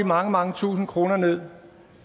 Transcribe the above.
mange mange tusinde kroner ned